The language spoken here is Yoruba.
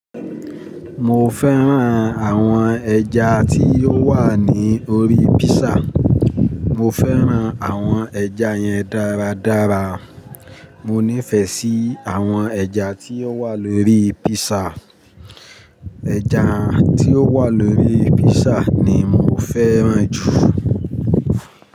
Mo fẹ́ràn àwọn ẹja tí ó wà ní orí písà. Mo fẹ́ràn àwọn ẹja yẹn dáradára. Mo nífẹ̀ẹ́ sí àwọn ẹja tí ó wà lórí písà. Ẹja tí ó wà lórí písà ni mo fẹ́ràn jù.